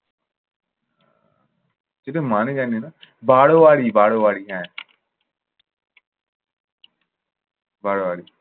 এটার মানে জানি না। বাড়োয়ারি বাড়োয়ারি হ্যাঁ। বাড়োয়ারি।